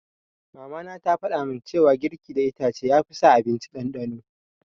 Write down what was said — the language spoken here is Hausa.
Mama na ta faɗamin cewa girki da itace ya fi sa abinci ɗanɗano